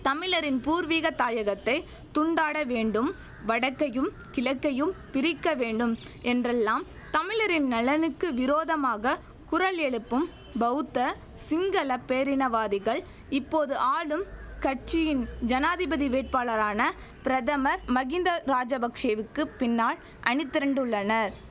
தமிழரின் பூர்வீக தாயகத்தை துண்டாட வேண்டும் வடக்கையும் கிழக்கையும் பிரிக்கவேண்டும் என்றெல்லாம் தமிழரின் நலனுக்கு விரோதமாக குரல் எழுப்பும் பௌத்த சிங்கள பேரினவாதிகள் இப்போது ஆளும் கட்சியின் ஜனாதிபதி வேட்பாளரான பிரதமர் மஹிந்த ராஜபக்ஷெவுக்குப் பின்னால் அணி திரண்டுள்ளனர்